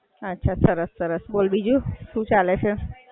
અચ્છા સરસ સરસ. બોલ બીજું શું ચાલે છે?